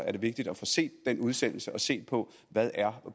er vigtigt at få set den udsendelse og se på hvad